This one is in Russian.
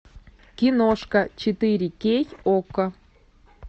киношка четыре кей окко